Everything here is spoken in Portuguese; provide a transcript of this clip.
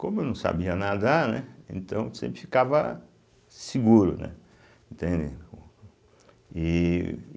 Como eu não sabia nadar, né, então sempre ficava seguro, né, entende ih.